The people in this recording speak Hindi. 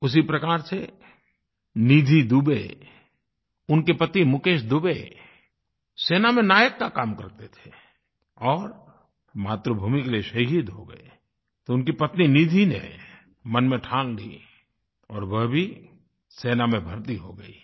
उसी प्रकार से निधि दुबे उनके पति मुकेश दुबे सेना में नायक का काम करते थे और मातृभूमि के लिए शहीद हो गए तो उनकी पत्नी निधि ने मन में ठान ली और वे भी सेना में भर्ती हो गयीं